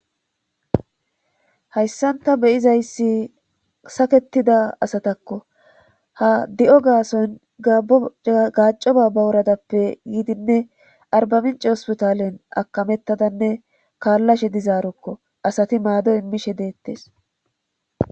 hayssanta beyizayssi saketida asatakko ha di7o gaason gaco baaba wuradappe yiidinne arbaminci hospitalen akamettadanne kaallashe dizaarokko asati maado immishe deettes